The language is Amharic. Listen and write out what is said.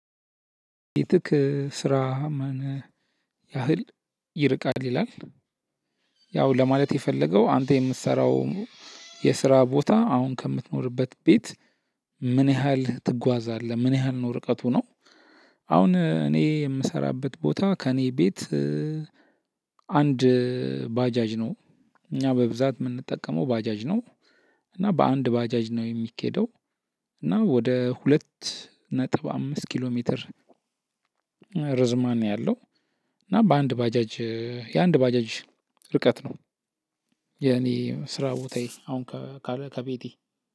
ቤትክ ስራ ምን ያህል ይርቃል ይላል? ያው ለማለት የፈለገው አንተ የምትሰራው የስራ ቦታ አሁን ከምትኖርበት ቤት። ምን ያህል ትጓዛለህ ምን ያህል ነው ርቀቱ ነው? አሁን እኔ የምሰራበት ቦታ ከእኔ ቤት። አንድ ባጃጅ ነው። እኛ በብዛት እምንጠቀመው ባጃጅ ነው። እና በአንድ ባጃጅ ነው የሚኬደው። እና ወደ ሁለት ነጥብ አምስት ኪሎ ሜትር። ርዝማኔ አለው። እና በአንድ ባጃጅ የአንድ ባጃጅ ርቀት ነው። የኔ ስራ ቦታዬ አሁን ከቤቴ